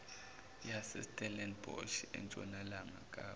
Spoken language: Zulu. yasestellenbosch entshonalanga kapa